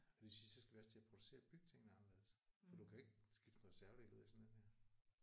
Og det synes jeg så skal vi også til at producere og bygge tingene anderledes for du kan jo ikke skifte en reservedel ud i sådan en her